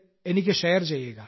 എനിക്ക് ഷെയർ ചെയ്യുക